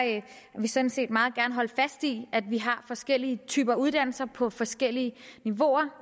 vi sådan set meget gerne holde fast i at vi har forskellige typer af uddannelser på forskellige niveauer